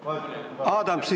Valdo Randpere.